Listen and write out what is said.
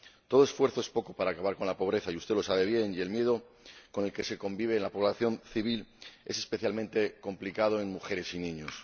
Todo esfuerzo es poco para acabar con la pobreza y usted lo sabe bien y el miedo con el que convive la población civil es especialmente complicado en mujeres y niños.